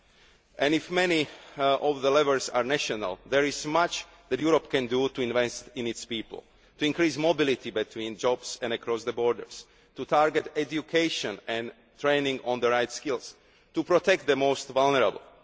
society. While many of the levers are national, there is much that Europe can do to invest in its people, to increase mobility between jobs and across borders, to target education and training in the right skills, and to protect the most vulnerable.